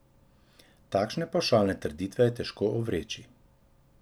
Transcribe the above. Takšne pavšalne trditve je težko ovreči.